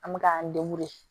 An bɛ k'an